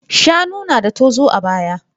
Shanu yana da tozo a baya.